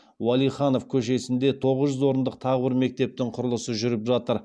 уәлиханов көшесінде тоғыз жүз орындық тағы бір мектептің құрылысы жүріп жатыр